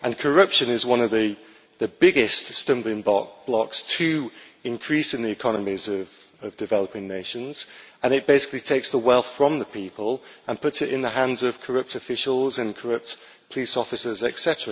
Corruption is one of the biggest stumbling blocks to expanding the economies of developing nations, as it basically takes the wealth from the people and puts it in the hands of corrupt officials and corrupt police officers, etc.